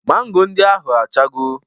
Mango ndị ahụ achago